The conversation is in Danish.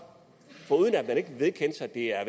at det er